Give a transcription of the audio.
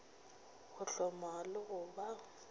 go hloma le go ba